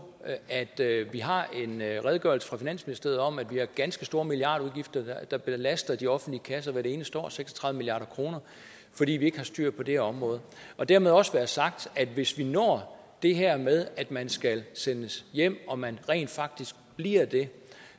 at vi har en redegørelse fra finansministeriet om at vi har ganske store milliardudgifter der belaster de offentlige kasser hvert eneste år seks og tredive milliard kr fordi vi ikke har styr på det her område og dermed også være sagt at hvis vi når det her med at man skal sendes hjem og man rent faktisk bliver det